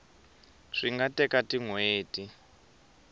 swi nga teka tin hweti